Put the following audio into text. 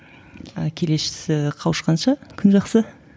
ы қауышқанша күн жақсы